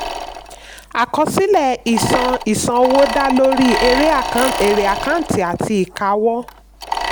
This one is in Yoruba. àkọsílẹ̀ ìṣàn ìṣàn owó da lórí èrè àkàǹtì àti ìkáwọ́.